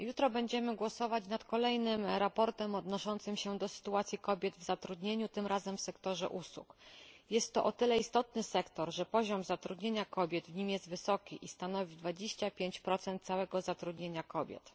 Jutro będziemy głosować nad kolejnym sprawozdaniem odnoszącym się do sytuacji kobiet w zatrudnieniu, tym razem w sektorze usług. Jest to o tyle istotny sektor, że poziom zatrudnienia kobiet w nim jest wysoki i stanowi 25 całego zatrudnienia kobiet.